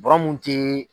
Bɔrɔ mun te